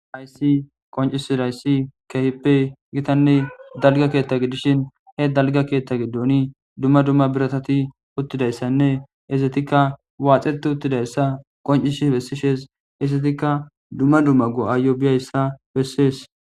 aysi qoncisirayssi kehippe gitanne dalga keetta gidishin he dalga keettha giddooni dumma dumma biratati uttidayssanne isetikka waaxeti uttidayssa qoncishi bessishes isetikka dumma dumma go7aayo biyayssa bessees